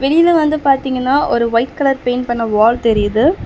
வெளியில வந்து பாத்தீங்கன்னா ஒரு ஒயிட் கலர் பெயிண்ட் பண்ண வால் தெரியிது.